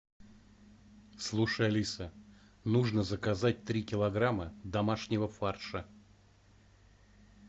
слушай алиса нужно заказать три килограмма домашнего фарша